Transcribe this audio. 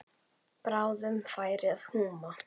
Bráðum færi að húma.